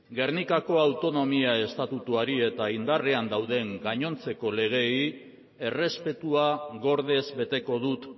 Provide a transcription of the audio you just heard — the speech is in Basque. gernikako autonomia estatutuari eta indarrean dauden gainontzeko legeei errespetua gordez beteko dut